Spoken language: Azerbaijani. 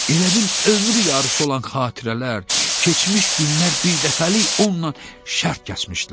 Elə bil ömrü yarısı olan xatirələr, keçmiş günlər birdəfəlik onunla şərt kəsmişdilər.